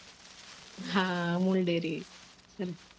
હા amul dairy